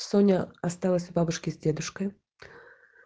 соня осталось у бабушки с дедушкой